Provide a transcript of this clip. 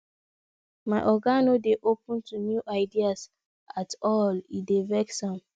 my oga no dey open to new ideas at all e dey vex am